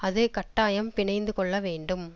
அது கட்டாயம் பிணைந்து கொள்ள வேண்டும்